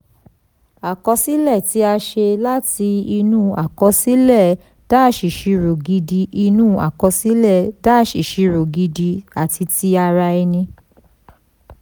àkọsílẹ̀ tí a ṣe láti inú àkọsílẹ̀-ìṣirò gidi inú àkọsílẹ̀-ìṣirò gidi àti ti ara ẹni.